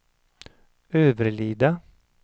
Överlida